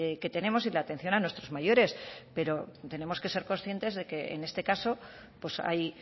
que tenemos y la atención a nuestros mayores pero tenemos que ser conscientes de que en este caso pues hay